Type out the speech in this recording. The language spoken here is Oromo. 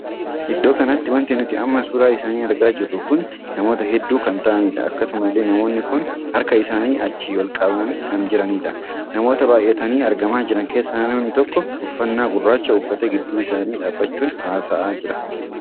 Iddoo kanatti wanti nuti amma suuraa isaanii argaa jirru kun namoota hedduu kan taa'aniidha. akkasuma illee namoonni kun harka isaanii achi ol qabaa kan jiranidha. namoota baay'atanii argama jiran keessaa namni tokko uffannaa gurraachaa uffatee gidduu isaanii dhaabbachuun haasaa jira.